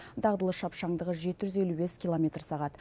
дағдылы шапшаңдығы жеті жүз елу бес километр сағат